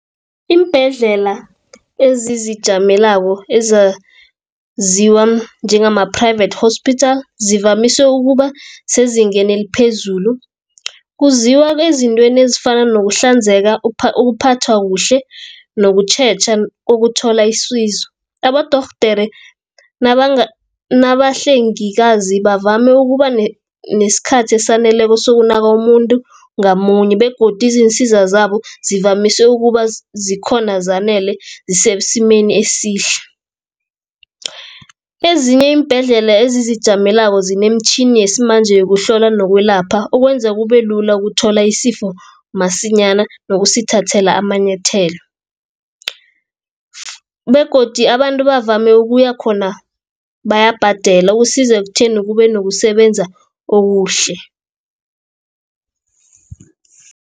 Iimbhedlela ezizijamelako ezaziwa njengama-private hospital, zivamise ukuba sezingeni eliphezulu. Kuziwa ezintweni ezifana nokuhlanzeka ukuphathwa kuhle nokutjheja ukuthola isizo. Abodorhodere nabahlengikazi bavame ukuba nesikhathi esaneleko sokunaka umuntu ngamunye, begodi izinsiza zabo zivamise ukuba zikhona zanele zisesimeni esihle. Ezinye iimbhedlela ezizijamelako zinemitjhini yesimanje yokuhlola nokwelapha okwenza kubelula ukuthola isifo masinyana nokusithathela amanyethelo, begodi abantu bavame ukuya khona bayabhadela usiza ekutheni kube nokusebenza okuhle.